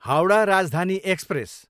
Howrah Rajdhani express